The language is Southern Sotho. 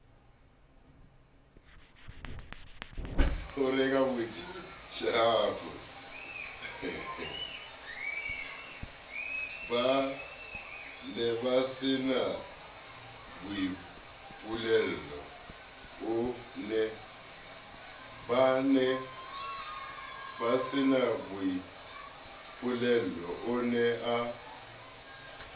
ba nebasena boipuello o ne